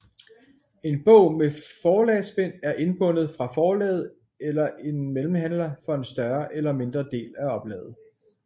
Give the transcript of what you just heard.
En bog med forlagsbind er indbundet fra forlaget eller en mellemhandler for en større eller mindre del af oplaget